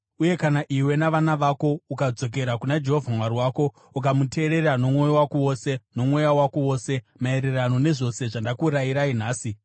uye kana iwe navana vako ukadzokera kuna Jehovha Mwari wako ukamutereera nomwoyo wako wose nomweya wako wose maererano nezvose zvandakurayirai nhasi,